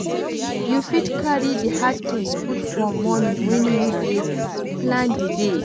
Yoy fit carry di hard things put for morning when you dey plan di day